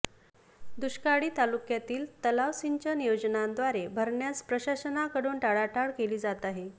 दुष्काळी तालुक्यातील तलाव सिंचन योजनांद्वारे भरण्यास प्रशासनाकडून टाळाटाळ केली जात आहे